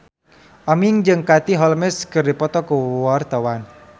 Aming jeung Katie Holmes keur dipoto ku wartawan